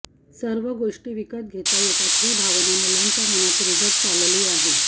सर्व गोष्टी विकत घेता येतात ही भावना मुलांच्या मनात रुजत चालली आहे